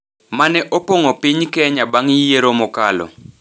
ma ne opong’o piny Kenya bang’ yiero mokalo,